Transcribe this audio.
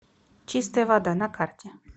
чистая вода на карте